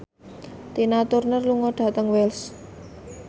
Tina Turner lunga dhateng Wells